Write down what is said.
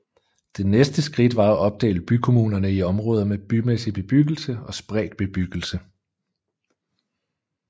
Det næste skridt var at opdele bykommunerne i områder med bymæssig bebyggelse og spredt bebyggelse